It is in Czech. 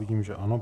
Vidím, že ano.